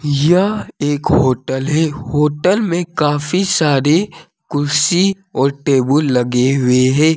यह एक होटल है होटल में काफी सारी कुर्सी और टेबुल लगे हुए है।